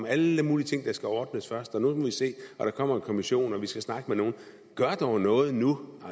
alle mulige ting der skal ordnes først og nu må vi se og der kommer en kommission og vi skal snakke med nogle gør dog noget nu